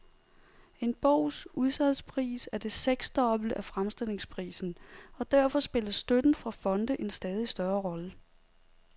En bogs udsalgspris er det seksdobbelte af fremstillingsprisen, og derfor spiller støtten fra fonde en stadig større rolle.